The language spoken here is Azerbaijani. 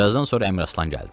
Bir azdan sonra Əmir Aslan gəldi.